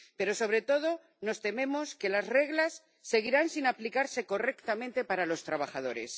Pero, sobre todo, nos tememos que las reglas seguirán sin aplicarse correctamente para los trabajadores.